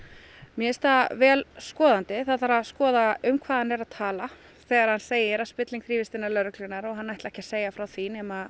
mér finnst það vel skoðandi það þarf að skoða um hvað hann er að tala þegar hann segir að spilling þrífist innan lögreglunnar og hann ætli ekki að segja frá því nema